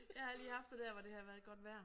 Jeg har lige haft det der hvor det har været godt vejr